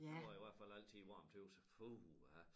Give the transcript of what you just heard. Det var i hvert fald altid varmt tøs jeg puha